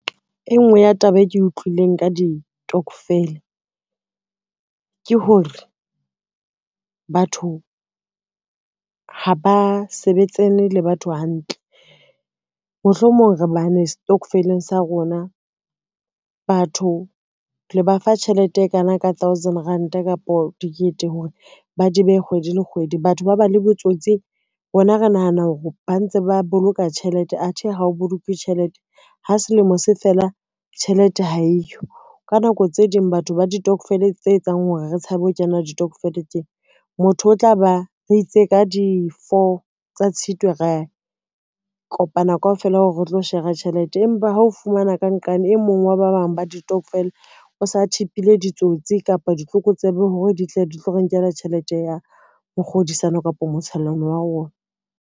E ngwe ya taba e ke utlwileng ka ditokofele ke hore, batho ha ba sebetsane le batho hantle. Mohlomong re bane setokofeleng sa rona, batho le ba fa tjhelete e kana ka thousand ranta kapa dikete hore ba di behe kgwedi le kgwedi. Batho ba ba le botsotsi rona re nahana hore ba ntse ba boloka tjhelete, athe ha o bolokuwe tjhelete, ha selemo se fela tjhelete ha eyo. Ka nako tse ding batho ba ditokofele tse etsang hore re tshabe ho kena ditokofele tse, motho o tla ba re itse ka di-four tsa Tshitwe, ra kopana kaofela hore re tlo shera tjhelete, empa ha o fumana ka nqane, e mong wa ba bang ba ditokofele o sa tip-ile ditsotsi kapa ditlokotsebe hore di tle di tlo re nkela tjhelete ya ho kgodisana kapa motshellano wa rona.